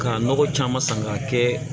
K'a nɔgɔ caman san k'a kɛ